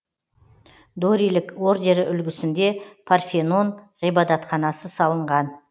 дорилік ордері үлгісінде парфенон ғибадатханасы салынған